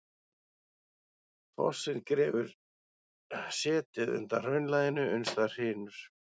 Fossinn grefur setið undan hraunlaginu uns það hrynur.